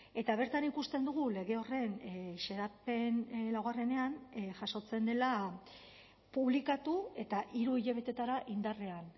eta bertan ikusten dugu lege horren xedapen laugarrenean jasotzen dela publikatu eta hiru hilabetetara indarrean